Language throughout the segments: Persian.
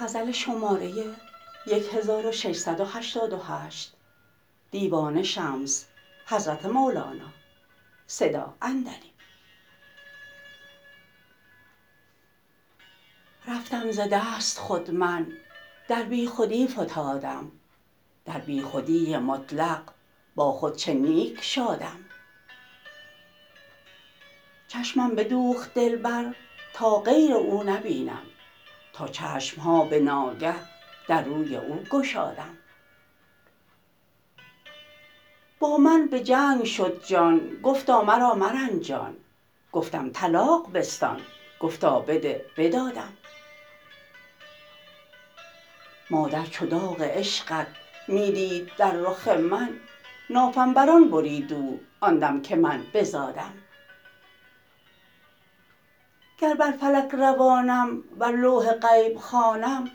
رفتم ز دست خود من در بیخودی فتادم در بیخودی مطلق با خود چه نیک شادم چشمم بدوخت دلبر تا غیر او نبینم تا چشم ها به ناگه در روی او گشادم با من به جنگ شد جان گفتا مرا مرنجان گفتم طلاق بستان گفتا بده بدادم مادر چو داغ عشقت می دید در رخ من نافم بر آن برید او آن دم که من بزادم گر بر فلک روانم ور لوح غیب خوانم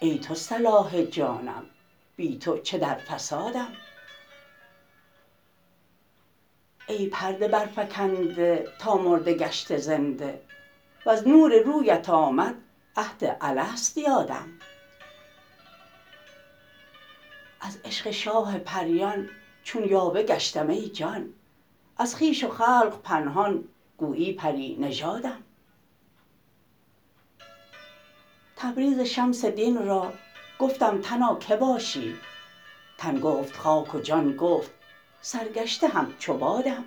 ای تو صلاح جانم بی تو چه در فسادم ای پرده برفکنده تا مرده گشته زنده وز نور رویت آمد عهد الست یادم از عشق شاه پریان چون یاوه گشتم ای جان از خویش و خلق پنهان گویی پری نژادم تبریز شمس دین را گفتم تنا کی باشی تن گفت خاک و جان گفت سرگشته همچو بادم